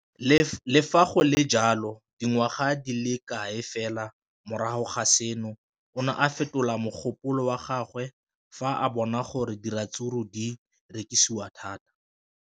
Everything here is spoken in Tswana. Le fa go le jalo, dingwaga di se kae fela morago ga seno, o ne a fetola mogopolo wa gagwe fa a bona gore diratsuru di rekisiwa thata.